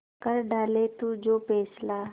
कर डाले तू जो फैसला